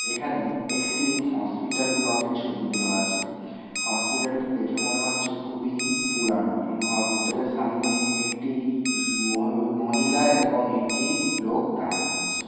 এখানে একটি হসপিটাল ব্লকের ছবি দেওয়া আছে । হসপিটাল টা দেখে মনে হচ্ছে খুবই পুরানো। হসপিটাল -এর সামনে একটি মহি-মহিলা এবং একটি-ই লোক দাঁড়িয়ে আছে।